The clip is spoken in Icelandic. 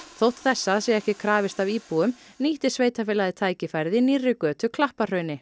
þótt þessa sé ekki krafist af íbúum nýtti sveitarfélagið tækifærið í nýrri götu